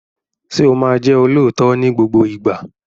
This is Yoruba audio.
Ṣé o máa jẹ́ olóòótọ́ ní gbogbo ìgbà?